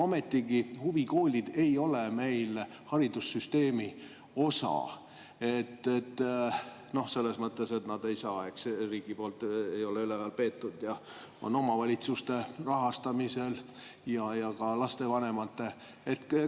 Ometigi huvikoolid ei ole meil haridussüsteemi osa – selles mõttes, et nad ei ole riigi poolt üleval peetud, on omavalitsuste ja ka lastevanemate rahastamisel.